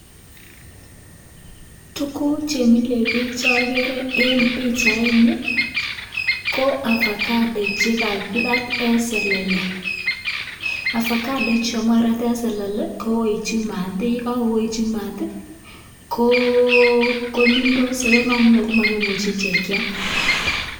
Tuguk chemile biik che ogere en pichaini, ko avocado chegakirat en selele. Avocado ichu amun kagirat en selele ko koetyi maat, ye kagoetyi maat ko nundos ago yon kagonunyo komogimuche ichek kyam.